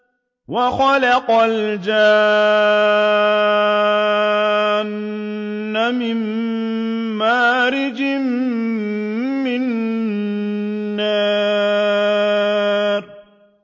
وَخَلَقَ الْجَانَّ مِن مَّارِجٍ مِّن نَّارٍ